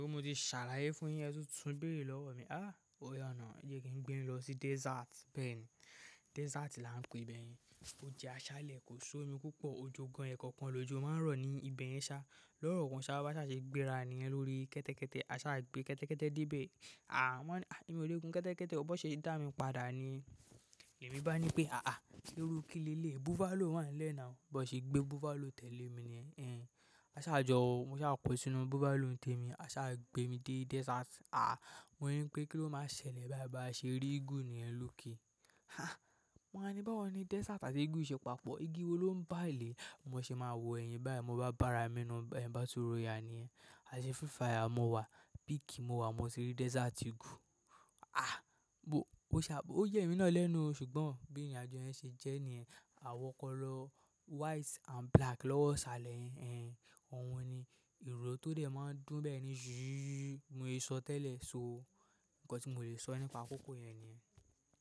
Mo ti ṣàlàyé fún yin ẹ́ tun tún bèèrè lọ́wọ́ mi, "áà ó yà nà, e je kí n gbé yin lọ sí desert." Bẹ́ẹ̀ ni, desert là ń pe ìbẹ̀ yẹn. Ó jẹ́ aṣálẹ̀, kò ṣómi púpọ̀, òjò gan-an e kankan lòjò máa ń rọ̀ ní ibe yẹn sá. Lọ́ro kan ṣáá bá ṣa se gbéra niyen lórí kẹ́tẹ́kẹ́tẹ́, a sá gbé kẹ́tẹ́kẹ́tẹ́ dé be. "Àà" mo wa ni, "àà ẹ́ mi o lẹ́ gun kẹ́tẹ́kẹ́tẹ́, ọ bá ṣe da mi padà niyen". Ẹ̀mí bá ní pé, "iru ki leleyi, buffalo wà n le na, bi won se gbe buffalo tẹ̀lé mi niyen." Ẹ́n, a sá jọ wọ, mo sá ko sínú buffalo ń tẹ mi, a sá gbé mi dé desert. Mo ni pe kilo ma wa ṣẹlẹ̀ báyìí, ba se ri eagle niyen loke. Hah, mo wá ní báwo ni desert àti eagle yìí ṣe papọ̀? Igi wo ló ń bà lé? Mo ṣe máa wò ẹ̀yin báyìí, mo bá bára mi nínú ẹ́ bottle royal niyen a se free fire ni mo wa, beak ni mo wa, ni mo se ri desert eagle àà mo ṣá, ó ya mi ná lẹ́nu o ṣùgbọ́n bí ìrìnàjò yẹn ṣe jẹ́ nìyẹn, àwọ̀ kọ́ lọ white and black lọ́wọ́ ṣálẹ̀ yẹn. Ẹ́n, òun ni ìró tó dẹ̀ máa ń dùn bẹ́ẹ̀ ni jù, mo se so tẹ́lẹ̀ sóo. Ǹkan tí mo lè so nípa kókò yen nìyẹn.